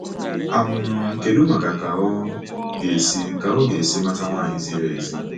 um Ma kedụ ka ọ ga-esi ka ọ ga-esi mata nwanyị ziri ezi.